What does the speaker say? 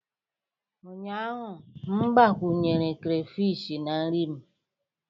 Ụnyaahụ m gbakwunyere crayfish na nri m